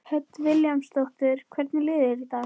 Hödd Vilhjálmsdóttir: Hvernig líður þér í dag?